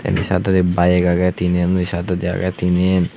indi sydawdi bayek agey tinen unni sydawdi agey tinen.